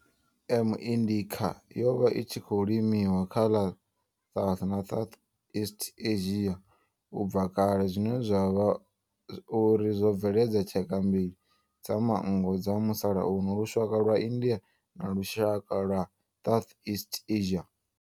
M. indica yo vha i tshi khou limiwa kha ḽa South na Southeast Asia ubva kale zwine zwa vha uri zwo bveledza tshaka mbili dza manngo dza musalauno lushaka lwa India na lushaka lwa Southeast Asia.